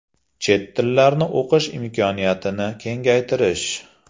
Chet tillarni o‘qish imkoniyatini kengaytirish.